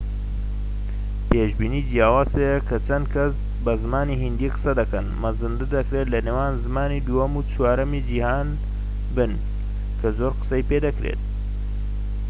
پێشبینی جیاواز هەیە کە چەند کەس بە زمانی هیندی قسە دەکەن مەزەندە دەکرێت لە نێوان زمانی دووەم و چوارەمی جیھان بن کە زۆر قسەی پێدەکرێت